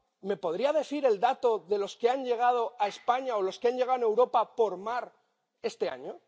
¿Me podrías decir el dato de los que han llegado a España o de los que han llegado a Europa por mar este año?